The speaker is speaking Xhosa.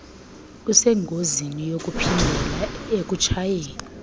usengozini yokuphindela ekutshayeni